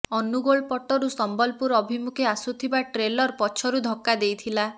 ଅନୁଗୋଳ ପଟରୁ ସମ୍ୱଲପୁର ଅଭିମୁଖେ ଆସୁଥିବା ଟ୍ରେଲର ପଛରୁ ଧକ୍କା ଦେଇଥିଲା